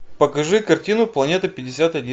покажи картину планета пятьдесят один